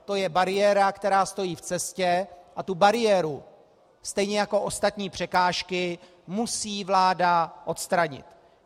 To je bariéra, která stojí v cestě, a tu bariéru, stejně jako ostatní překážky, musí vláda odstranit.